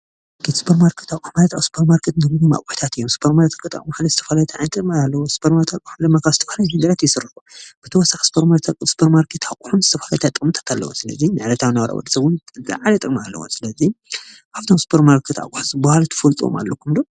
ስፖርማርኬት ኣቁሑ ማለት ኣብ ስፖርማርኬት ዝርከቡ ኣቁሕታት እዮም። ስፖርማርኬት ኣቁሑ ማለትዝተፈላለዩ ዓይነት ጥቀሚ ኣለዎ። ስፖርማርኬት ድማ ኣቁሑ ካብ ዝተፈላለዩ ነገራት ይስርሑ። ብተወሳኪ ስፖርማርኬት ኣቁሑ ዝተፈላለዩ ጥቅምታት ኣለውዎ። ስለዚ ንዕለታዊ ናብራ ወዲሰብ እውን ዝላዓለ ጥቅሚ ኣለዎ። ስለዚ ካብቶም ስፖርማርኬት ኣቁሕታት ዝበሃሉ ትፈልጥዎም ኣለውኩም ዶ?